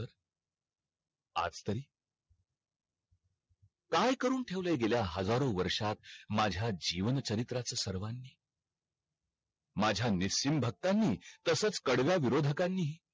आज तरी काय करून ठेवलय गेल्या हजारो वर्षात माझ्या जीवण चारित्र्याच सर्वानी माझ्या निश्चित भक्तांनी तसच कडव्या विऱोधकानी हि